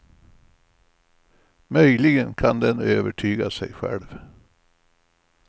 Möjligen kan den övertyga sig själv.